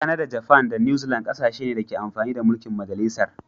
Kanada, Japan da new Zealand kasashe ne da ke amfani da mulki'n majalisar.